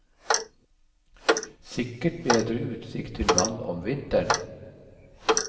Sikkert bedre utsikt til vann om vinteren.